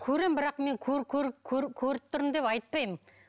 көремін бірақ мен көріп тұрмын деп айтпаймын